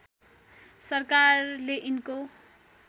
सरकारले यिनको